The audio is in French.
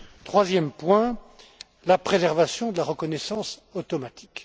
Troisième point, la préservation de la reconnaissance automatique.